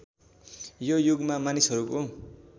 यो युगमा मानिसहरूको